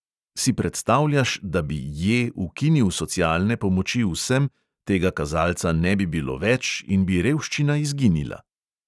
Si predstavljaš, da bi J ukinil socialne pomoči vsem, tega kazalca ne bilo več in bi revščina izginila?